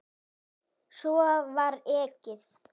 Svo var ekið.